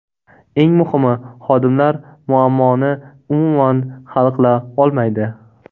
Eng muhimi xodimlar muammoni umuman hal qila olmaydi.